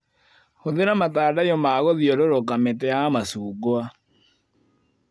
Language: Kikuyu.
Hũthĩra matandaiyo magũthiũrũrũka mĩtĩ ya macungwa.